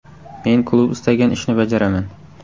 Men klub istagan ishni bajaraman.